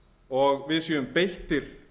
og við séum beittir